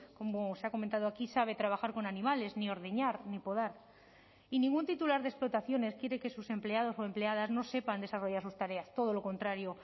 como se ha comentado aquí sabe trabajar con animales ni ordeñar ni podar y ningún titular de explotaciones quiere que sus empleados o empleadas no sepan desarrollar sus tareas todo lo contrario